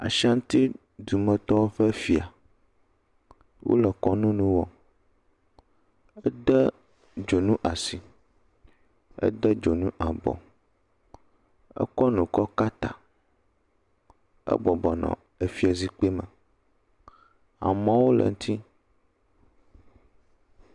Ashantidumetɔwo ƒe fia, wole kɔnu nu wɔm, ede dzonu asi, ede dzonu abɔ, ekɔ nu kɔ ka ta, ebɔbɔ nɔ afizikpui me, amewo le eŋuti.